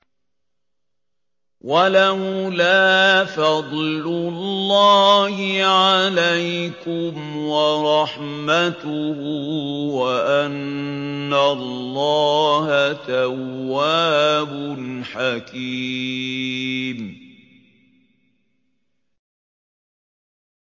وَلَوْلَا فَضْلُ اللَّهِ عَلَيْكُمْ وَرَحْمَتُهُ وَأَنَّ اللَّهَ تَوَّابٌ حَكِيمٌ